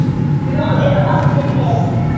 Nú eru allir með!